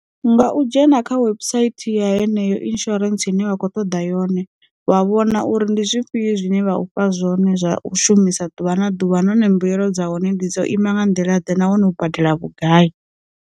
Nga u dzhena kha website ya heneyo insurance ine vha kho ṱoḓa yone vha vhona uri ndi zwifhio zwine vha ufha zwone zwa u shumisa ḓuvha na ḓuvha na hone mbuyelo dza hone ndi dzo ima nga nḓila ḓe na hone u badela vhugai.